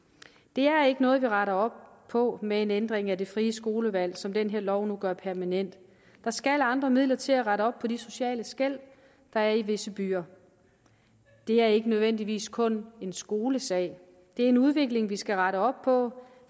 det er ikke noget vi retter op på med en ændring af det frie skolevalg som den her lov nu gør permanent der skal andre midler til at rette op på de sociale skel der er i visse byer det er ikke nødvendigvis kun en skolesag det er en udvikling vi skal rette op på